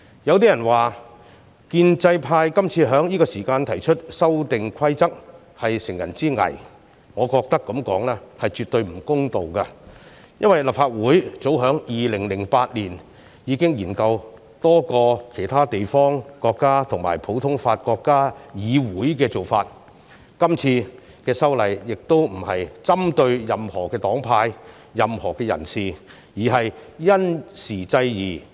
有人說建制派今次在這個時間提出修訂規則是乘人之危，我認為這樣說絕對不公道，因為立法會早在2008年已經研究多個其他地方、國家和普通法國家的議會做法，今次修例亦並非針對任何黨派、任何人士，而是因時制宜。